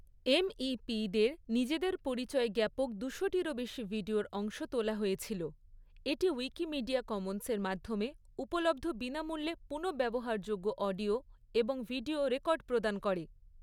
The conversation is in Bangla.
এমইপিদের নিজেদের পরিচয় জ্ঞাপক দুশোটিরও বেশি ভিডিওর অংশ তোলা হয়েছিল; এটি উইকিমিডিয়া কমন্সের মাধ্যমে উপলব্ধ বিনামূল্যে পুনঃব্যবহারযোগ্য অডিও এবং ভিডিও রেকর্ড প্রদান করে।